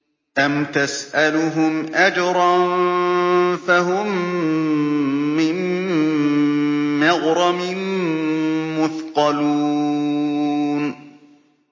أَمْ تَسْأَلُهُمْ أَجْرًا فَهُم مِّن مَّغْرَمٍ مُّثْقَلُونَ